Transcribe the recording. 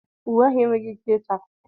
Uwe agha enweghị ike ịchafụ.